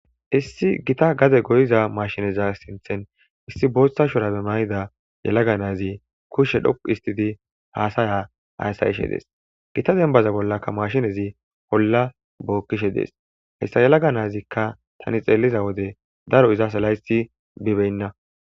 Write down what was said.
issi gita gaze goyiza mashineza sinthen issi booththa shurabe mayida yalaga naazi kushshe dhoqu histidi haasaya aassayishe dees gita denbaza bollakka mashinezi bolla bookkishe dees hessa yalaga naazikka tani xeeliza wode daro izasa layssi bibeynna